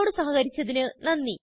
ഞങ്ങളോട് സഹകരിച്ചതിന് നന്ദി